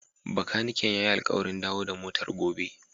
Bakaniken ya yi alƙawarin dawo da motar gobe.